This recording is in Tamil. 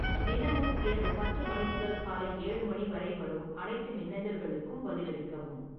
தினமும் இரவு பத்து மணி முதல் காலை ஏழு மணி வரை வரும் அனைத்து மின்னஞ்சல்களுக்கும் பதிலளிக்கவும்